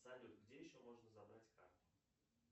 салют где еще можно забрать карту